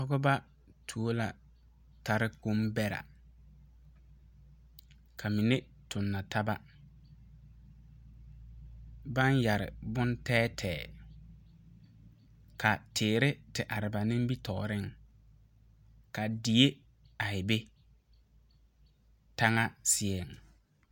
Pɔgba you la tare kpong bera ka mene tong nataba bang yere bon teɛ teɛ ka teere te arẽ ba nimitooring ka deɛ arẽ be tanga seɛ.